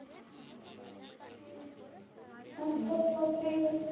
भुक पण लागली रे.